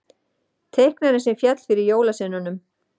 Teiknarinn sem féll fyrir jólasveinunum